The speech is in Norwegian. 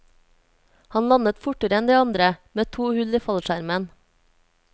Han landet fortere enn de andre, med to hull i fallskjermen.